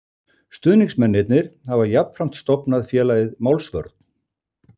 Stuðningsmennirnir hafa jafnframt stofnað félagið Málsvörn